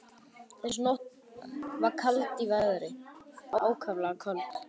Þessa nótt var kalt í veðri, ákaflega kalt.